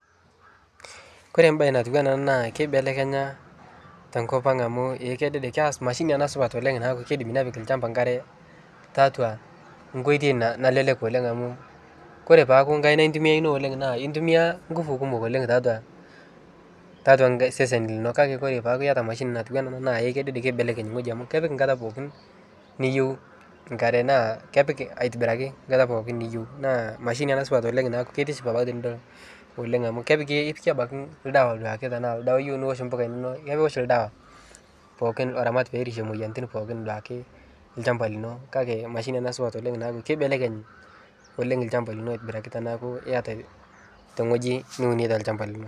Kore baye natiwana ana naa keibelekenya tenkopang' amu eh kedede keas mashini ana supat naaku keidim nepik lchamba nkare, taatwa nkoitoi na nalelek amu kore peaku nkaina itumiyaa ino oleng' naa itumiyaa ngufu kumok oleng' taatwa, taatwa sesen lino kake kore paaku iyata mashini natuwana ana naa eh kedede keibelekeny ng'oji amu kepik nkata pookin niyeu nkare naa kepik aitibiraki nkata pookin niyeu naa mashini ana supat oleng' naaku ketiship abaki tinidol oleng' amu kepiki si abaki ldawa duake tanaa ldawa iyeu niwosh mbuka inono iwosh ldawa pookin loramat peerishe moiyianitin pookin duake lchamba lino kake mashini ana supat oleng' naaku keibelekny oleng' lchamba lino aitibiraki tanaaku iyiata teng'oji niuneta lchamba lino.